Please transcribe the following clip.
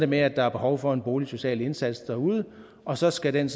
med at der er behov for en boligsocial indsats derude og så skal den